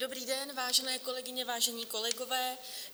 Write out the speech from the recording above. Dobrý den, vážené kolegyně, vážení kolegové.